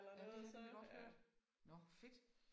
Ja men det har jeg nemlig godt hørt. Nåh fedt